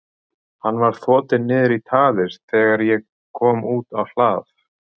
Hann var þotinn niður í traðir þegar ég kom út á hlað.